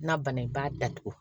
N'a banna i b'a datugu